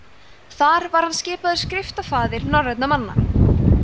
þar var hann skipaður skriftafaðir norrænna manna